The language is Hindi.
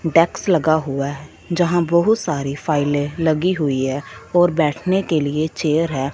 डेक्स लगा हुआ है जहां बहुत सारी फाइलें लगी हुई है और बैठने के लिए चेयर है।